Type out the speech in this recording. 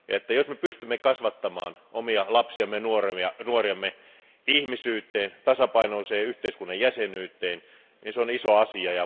Jos me pystymme kasvattamaan omia lapsiamme ja nuoriamme ihmisyyteen ja tasapainoiseen yhteiskunnan jäsenyyteen, niin se on iso asia.